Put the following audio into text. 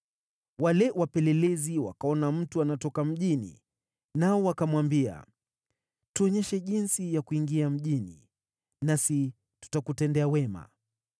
wale wapelelezi wakaona mtu anatoka mjini, nao wakamwambia, “Tuonyeshe jinsi ya kuingia mjini nasi tutakutendea wema.”